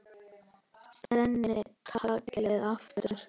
Spenni taglið aftur.